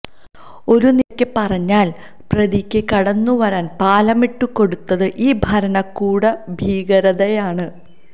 ഒരു നിലക്ക് പറഞ്ഞാല് പ്രതിക്ക് കടന്നുവരാന് പാലമിട്ടുകൊടുത്തത് ഈ ഭരണകൂട ഭീകരതയാണ്